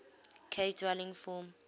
cave dwelling form